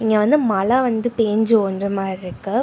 இங்க வந்து மழ வந்து பேஞ்சு ஒஞ்ச மார் ருக்கு.